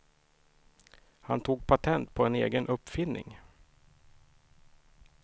Han tog patent på en egen uppfinning.